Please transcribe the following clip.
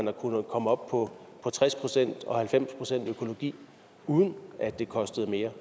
har kunnet komme op på tres procent og halvfems procent i økologi uden at det kostede mere